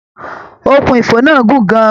Òkun ifo náà gun gán an.